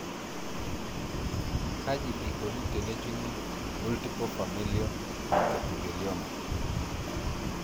kaji eikoni tenejungi multiple familial trichoepithelioma?